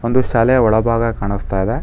ಒಂದು ಶಾಲೆಯ ಒಳಭಾಗ ಕಾಣಿಸ್ತಾ ಇದೆ.